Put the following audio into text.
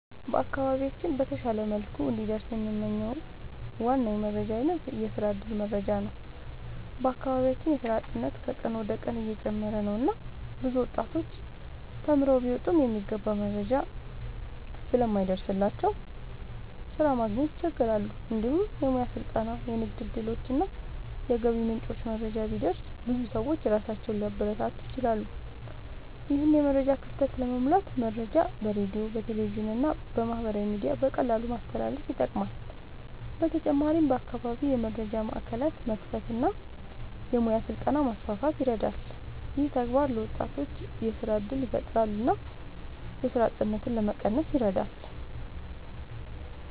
በአካባቢያችን በተሻለ መልኩ እንዲደርስ የምንመኝው ዋና የመረጃ አይነት የስራ እድል መረጃ ነው። በአካባቢያችን የስራ አጥነት ከቀን ወደ ቀን እየጨመረ ነው እና ብዙ ወጣቶች ተማርተው ቢወጡም የሚገባ መረጃ ስለማይደርስላቸው ስራ ማግኘት ይቸገራሉ። እንዲሁም የሙያ ስልጠና፣ የንግድ እድሎች እና የገቢ ምንጮች መረጃ ቢደርስ ብዙ ሰዎች ራሳቸውን ሊያበረታቱ ይችላሉ። ይህን የመረጃ ክፍተት ለመሙላት መረጃ በሬዲዮ፣ በቴሌቪዥን እና በማህበራዊ ሚዲያ በቀላሉ ማስተላለፍ ይጠቅማል። በተጨማሪም በአካባቢ የመረጃ ማዕከላት መክፈት እና የሙያ ስልጠና ማስፋት ይረዳል። ይህ ተግባር ለወጣቶች የስራ እድል ያፈጥራል እና የስራ አጥነትን ለመቀነስ ይረዳል።